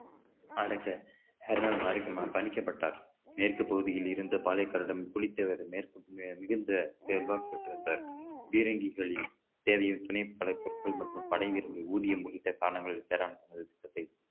அடங்க மறுநாள் பணிக்கப்பட்டார் மேற்கு பகுதியில் இருந்து பலைகாருடன் புலித்தேவரை மேற்கு மிகுந்த பீரங்கிகளில் தேவையின் துணைப் பல பொருட்கள் மற்றும் படைவீரர்களின் ஊதியம் உள்ளிட்ட காரணங்கள்